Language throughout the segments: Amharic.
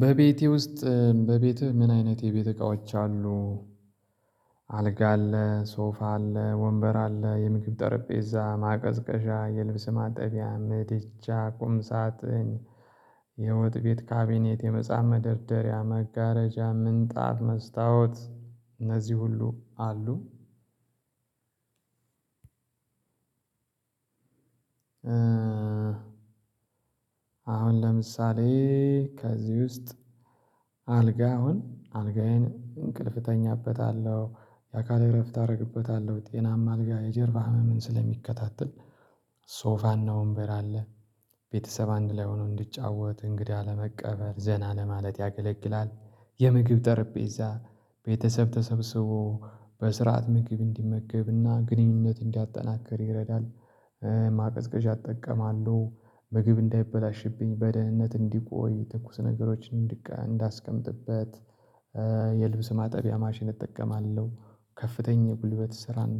በቤቴ ውስጥ በቤትህ ምን አይነት የቤት እቃዎች አሉ? አልጋ አለ ሶፋ አለ ወንበር አለ የምግብ ጠረጴዛ ማቀዝቀዣ የልብስ ማጠቢያ ምድጃ ቁም ሳጥን የወጥ ቤት ካቢኔት የመጽሐፍ መደርደሪያ መጋረጃ ምንጣፍ መስታወት እነዚህ ሁሉ አሉ። አሁን ለምሳሌ ከዚህ ውስጥ አልጋ አሁን አልጋዬን እንቅልፍ እተኛበታለው የአካል እረፍት አረግበታለው ጤናማ አልጋ የጀርባ ህመም ስለሚከታተል። ሶፋና ወንበር አለ ቤተሰብ አንድ ላይ ሆኖ እንዲጫወት እንግዳ ለመቀበል ዘና ለማለት ያገለግላል። የምግብ ጠረጴዛ ቤተሰብ ተሰብስቦ በስርዓት ምግብ እንዲመገብና ግንኙነት እንዲያጠናክር ይረዳል። ማቀዝቀዣ እጠቀማለው ምግብ እንዳይበላሽብኝ በደህንነት እንዲቆይ ትኩስ ነገሮችን እንዳስቀምጥበት። የልብስ ማጠቢያ ማሽን እጠቀማለው ከፍተኛ ጉልበት ስራን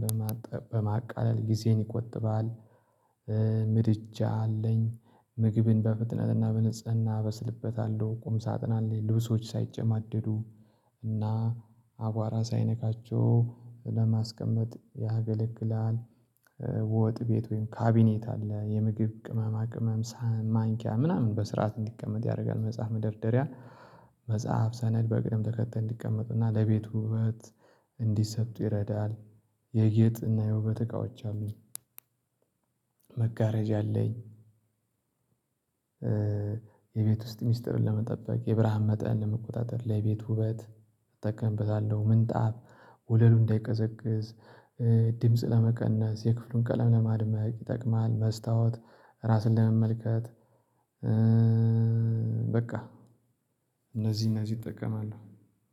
በማቃለል ጊዜን ይቆጥባል። ምድጃ አለኝ ምግብን በፍጥነትና በንጽህና አበስልበታለሁ። ቁም ሳጥን አለኝ ልብሶች ሳይጨማደዱ እና አቧራ ሳይነካቸው ለማስቀመጥ ያገለግላል። ወጥ ቤት ወይም ካቢኔት አለ የምግብ ቅመማ ቅመም ሳህን ማንኪያ ምናምን በስርዓት እንዲቀመጥ ያደርጋል። መጽሐፍ መደርደሪያ መጽሐፍ ሰነድ በቅድም ተከተል እንዲቀመጥና ለቤቱ ውበት እንዲሰጡ ይረዳል። የጌጥና የውበት እቃዎች አሉኝ። መጋረጃ አለኝ የቤት ውስጥ ሚስጥርን ለመጠበቅ የብርሃን መጠን ለመቆጣጠር ለቤት ውበት እጠቀምበታለው። ምንጣፍ ወለሉ እንዳይቀዘቅዝ ድምጽ ለመቀነስ የክፍሉን ቀለም ለማድመቅ ይጠቅማል። መስታወት ራስን ለመመልከት። በቃ እነዚህ እነዚህ ይጠቀማል